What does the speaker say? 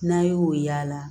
N'a y'o y'ala